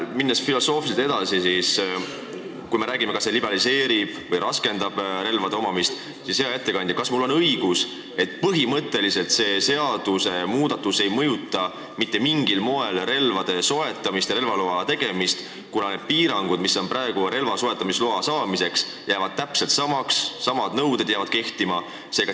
Minnes filosoofiliselt edasi, kui me räägime sellest, kas see liberaliseerib või raskendab relva omamist, siis, hea ettekandja, kas mul on õigus, et põhimõtteliselt see seadusmuudatus ei mõjuta mitte mingil moel relvade soetamist ja relvaloa tegemist, kuna need piirangud, mis on praegu relvaloa ja soetamisloa saamisel, jäävad täpselt samaks, needsamad nõuded jäävad kehtima?